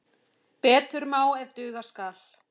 Betur má ef duga skal!